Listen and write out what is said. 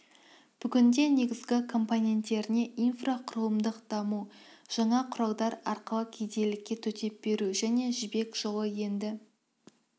бүгінде негізгі компоненттеріне инфрақұрылымдық даму жаңа құралдар арқылы кедейлікке төтеп беру және жаңа жібек жолы енді